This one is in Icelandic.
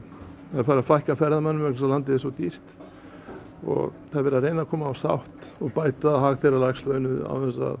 það er farið að fækka ferðamönnum vegna þess að landið er svo dýrt það er verið að reyna að koma á sátt og bæta hagkerfi lægst launuðu án þess að